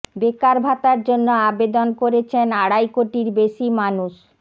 বেকার ভাতার জন্য আবেদন করেছেন আড়াই কোটির বেশি মানুষ